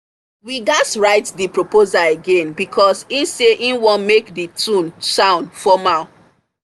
we gadz write the proposal again because he say he want make the tone sound formal